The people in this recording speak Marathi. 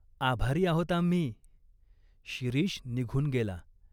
"आभारी आहोत आम्ही." शिरीष निघून गेला.